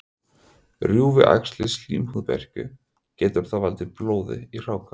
Rjúfi æxlið slímhúð berkju, getur það valdið blóði í hráka.